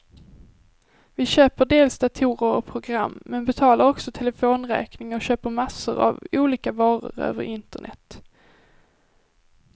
Vi köper dels datorer och program, men betalar också telefonräkningen och köper massor av olika varor över internet.